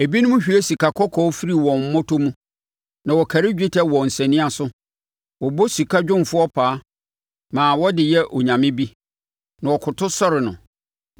Ebinom hwie sikakɔkɔɔ firi wɔn mmɔtɔ mu na wɔkari dwetɛ wɔ nsania so; wɔbɔ sika dwumfoɔ paa, ma ɔde yɛ onyame bi, na wɔkoto sɔre no.